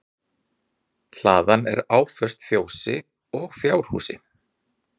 Hlaðan er áföst fjósi og fjárhúsi